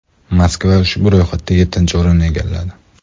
Moskva ushbu ro‘yxatda yettinchi o‘rinni egalladi.